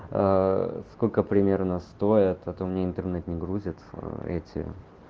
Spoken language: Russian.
сколько примерно стоят у меня интернет не грузит эти